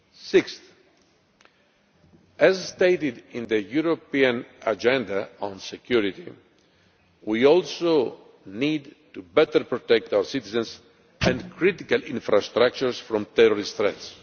Sixthly, as stated in the European Agenda on Security, we also need to better protect our citizens and critical infrastructures from terrorist threats.